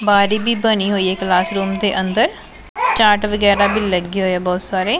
ਬਾਰੀ ਵਗੈਰਾ ਵੀ ਬਣੀ ਹੋਈ ਹੈ ਕਲਾਸ ਰੂਮ ਦੇ ਅੰਦਰ ਚਾਟ ਵਗੈਰਾ ਵੀ ਲੱਗੇ ਹੋਏ ਆ ਬਹੁਤ ਸਾਰੇ।